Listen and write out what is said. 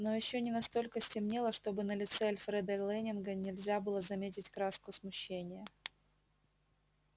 но ещё не настолько стемнело чтобы на лице альфреда лэннинга нельзя было заметить краску смущения